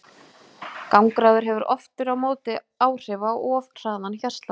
Gangráður hefur aftur á móti ekki áhrif á of hraðan hjartslátt.